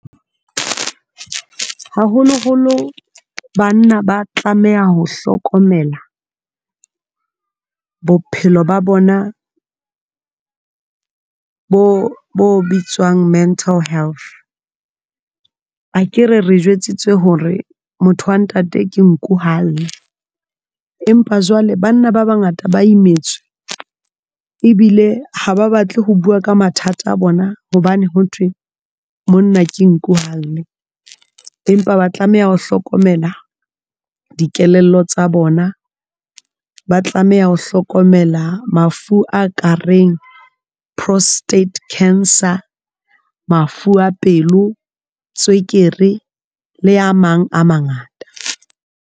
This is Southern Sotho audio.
Haholoholo banna ba tlameha ho hlokomela bophelo ba bona bo bitswang mental health akere re jwetsitswe hore motho wa ntate ke nku ha alle, empa jwale banna ba bangata ba imetswe ebile ha ba batle ho bua ka mathata a bona hobane ho thwe monna ke nku ha alle. Empa ba tlameha ho hlokomela dikelello tsa bona, ba tlameha ho hlokomela of a ka reng prostate cancer, mafu a pelo, tswekere le a mang a mangata.